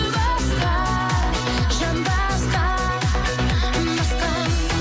басқа жан басқа басқа